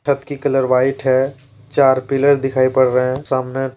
छत की colour white है चार पिलर दिखाई पड़ रहे हैं सामने।